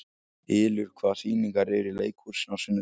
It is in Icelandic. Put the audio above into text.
Ylur, hvaða sýningar eru í leikhúsinu á sunnudaginn?